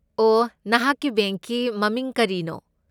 ꯑꯣ, ꯅꯍꯥꯛꯀꯤ ꯕꯦꯡꯛꯀꯤ ꯃꯃꯤꯡ ꯀꯔꯤꯅꯣ?